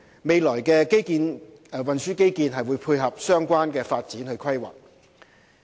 未來運輸基建會配合相關發展規劃。